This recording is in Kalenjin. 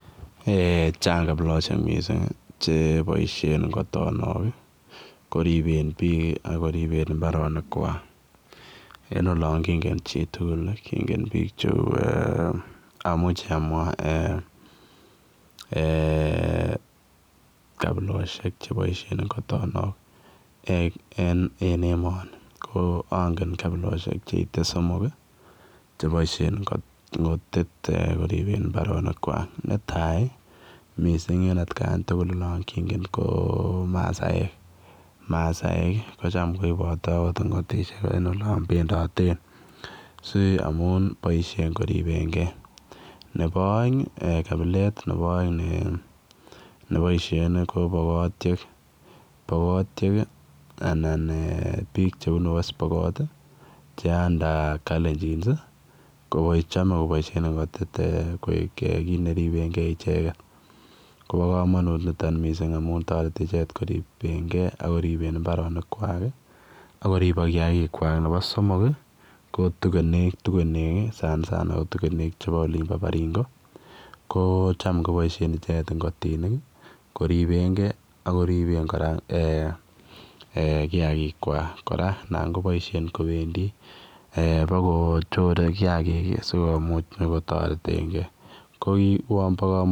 Eeh chaang kabilosiek mising che boisien ngotonok kiribeen biik ak kiribeen mbaronik kwaak en olaan kongeen chii tuguul kongeen biik che uu eeh amuchi amwaa eeh kabilosiek che boisien ngotonok en emanii ko angen kabilosiek che ite somok ii chebaisheen ngotiit kiribeen mbaronik kwak ne tai ii missing en at kaan tugul naan kongeen ko masaek masaek kocham kobateen akoot ngotisheek en olaan bendateen si amuun boisien koripeen gei nebo aeng ii kabileet nebaisheen ko pokotiek pokotiek anan eeh biik chebunu west pokot ii che [under] kalenjins ii ko chame kobaisheen ngotit eng koit neribeen kei ichegeet koba kamanuut nitoon missing amuun taretii ichegeet kiribeen kei ak kiribeen mbaronik kwaak akoribaak kiagik kwaak nebo somok ii ko tugeneek sana sana ko tugeneek chebo olimpo baringo ko chaam kobaisheen ichegeet kiribeen gei ak kiribeen kora eeh kiagik kora naan kobaisheen kobendii eeh bako chore kiagik ii sikomuuch kotareteen gei ko uwaan bo kamanuut.